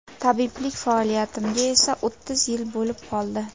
Tabiblik faoliyatimga esa o‘ttiz yil bo‘lib qoldi.